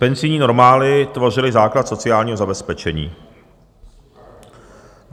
Penzijní normály tvořily základ sociálního zabezpečení.